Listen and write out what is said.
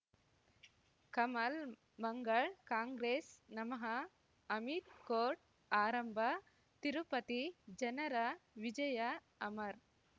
Kamal Mangal Congress ನಮಃ Amit court ಆರಂಭ ತಿರುಪತಿ ಜನರ ವಿಜಯ ಅಮರ್